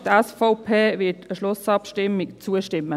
Die SVP wird in der Schlussabstimmung zustimmen.